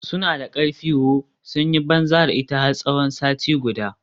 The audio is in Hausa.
Suna da karfi ooo, sun yi banza da ita har tsawon sati guda.